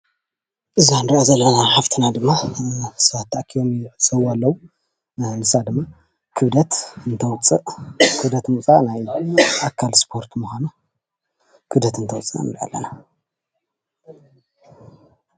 እዛ እንሪኣ ዘለና ሓፍትና ድማ ሰባት ተኣኪቦም ይዕዘብዋ ኣለው ንሳ ድማ ክብደት እትተውፅእ ክብደት ምውፃእ ኣካል እስፖርት ምኳኑ ክብደትእትተውፅእ ንሪኣ ኣለና፡፡